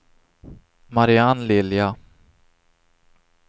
Marianne Lilja